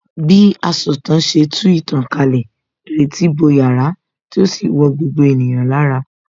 Bí asọ̀tàn ṣe tú ìtàn kalẹ̀, ìrètí bo yàrá tí ó sì wọ gbogbo ènìyàn lára